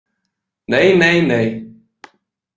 Nei nei nei.